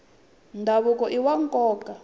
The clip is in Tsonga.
ndhavuko iwa nkoka